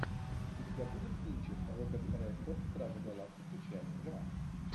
у тебя будет кинчик роберт редфорд стражи галактики часть два